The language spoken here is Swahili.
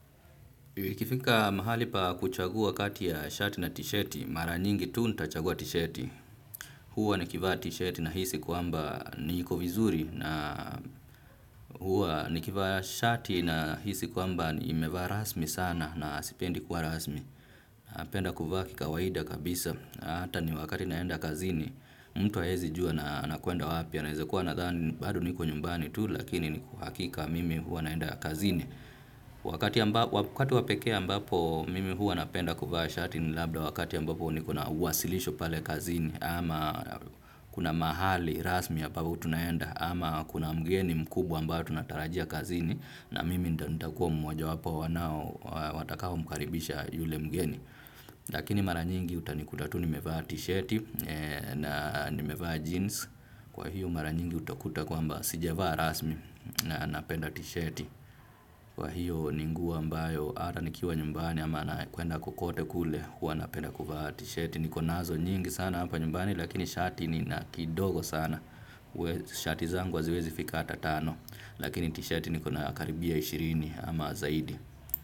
Ikifika mahali pa kuchagua kati ya shati na tisheti, mara nyingi tu nitachagua tisheti. Huwa nikivaa tisheti nahisi kwamba niko vizuri na huwa nikivaa shati nahisi kwamba nimevaa rasmi sana na sipendi kuwa rasmi. Napenda kuvaa kikawaida kabisa na hata ni wakati naenda kazini mtu haezi jua nakwenda wapi, anaweza kuwa anadhani bado niko nyumbani tu lakini ni kwa hakika mimi huwa naenda kazini. Wakati wa pekee ambapo mimi huwa napenda kuvaa shati ni labda wakati ambapo niko na uwasilisho pale kazini, ama kuna mahali rasmi ambapo tunaenda ama kuna mgeni mkubwa ambao tunatarajia kazini, na mimi nitakuwa mmoja wapo wa wanao watakao mkaribisha yule mgeni. Lakini mara nyingi utanikuta tu nimevaa t-shirt na nimevaa jeans. Kwa hiyo mara nyingi utakuta kwamba sijavaa rasmi na napenda t-shirt. Kwa hiyo ni nguo ambayo hata nikiwa nyumbani ama nakwenda kokote kule huwa napenda kufaa T-shirt. Niko nazo nyingi sana hapa nyumbani lakini shati nina kidogo sana. Shati zangu haziwezi fika hata tano lakini t-shirt niko na karibia ishirini ama zaidi.